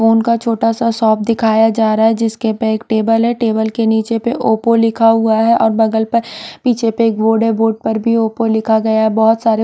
phone का छोटा सा शॉप दिखाया जा रहा हैं जिसके पर एक टेबल हैं टेबल के नीचे पर ओप्पो लिखा हुआ हैं और बगल पर पीछे पर एक बोर्ड हैं बोर्ड पर भी ओप्पो लिखा गया हैं बहुत सारे--